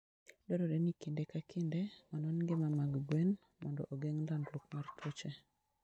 Dwarore ni kinde ka kinde, onon ngima mag gwen mondo ogeng' landruok mar tuoche.